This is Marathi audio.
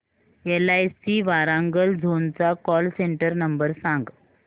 एलआयसी वारांगल झोन चा कॉल सेंटर नंबर सांग